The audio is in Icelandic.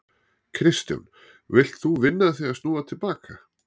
Kristján: Vilt þú vinna að því að snúa til baka?